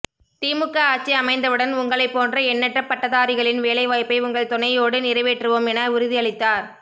திமுக ஆட்சி அமைந்தவுடன் உங்களைப்போன்ற எண்ணற்ற பட்டதாரிகளின் வேலை வாய்ப்பை உங்கள் துணையோடு நிறைவேற்றுவோம் என உறுதி அளித்தார்